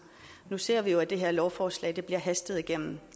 nu ser vi jo at det her lovforslag bliver hastet igennem